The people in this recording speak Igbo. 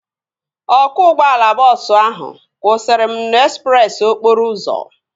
Ọkwọ ụgbọala bọọsu ahu kwụsara m n'ezpreesi okporo ụzọ